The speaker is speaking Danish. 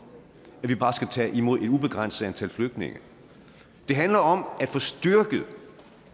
at vi bare skal tage imod et ubegrænset antal flygtninge det handler om at få styrket